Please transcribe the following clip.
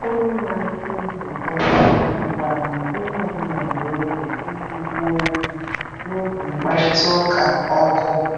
Onye na-achị nzukọ hụkwara na onye ọ bụla nwere oge iji kwuo okwu n’oge mkparịta ụka ọkụ.